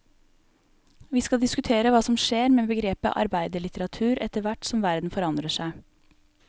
Vi skal diskutere hva som skjer med begrepet arbeiderlitteratur etter hvert som verden forandrer seg.